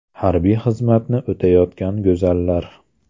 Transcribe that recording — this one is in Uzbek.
Harbiy xizmatni o‘tayotgan go‘zallar .